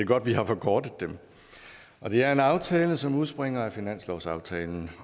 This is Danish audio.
godt vi har forkortet dem det er en aftale som udspringer af finanslovsaftalen